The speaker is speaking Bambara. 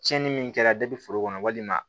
Tiɲɛni min kɛra foro kɔnɔ walima